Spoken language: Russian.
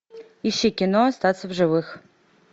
ищи кино остаться в живых